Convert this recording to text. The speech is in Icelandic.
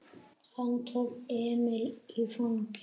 Hann tók Emil í fangið.